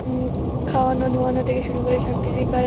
অ-ম খাওয়ানো ধোয়ানো থেকে শুরু করে সবকিছুই করা--